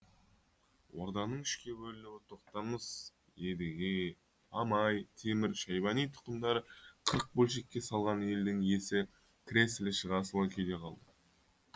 орданың үшке бөлінуі тоқтамыс едіге мамай темір шайбани тұқымдары қырық бөлшекке салған елдің есі кіресілі шығасылы күйде қалды